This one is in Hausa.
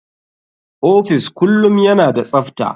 Office kullum yana da tsafta.